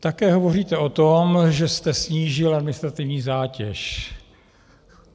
Také hovoříte o tom, že jste snížil administrativní zátěž.